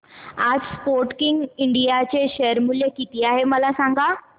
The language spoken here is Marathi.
आज स्पोर्टकिंग इंडिया चे शेअर मूल्य किती आहे मला सांगा